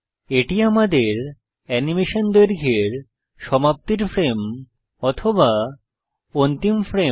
এটি আমাদের অ্যানিমেশন দৈর্ঘ্য এর সমাপ্তির ফ্রেম বা অন্তিম ফ্রেম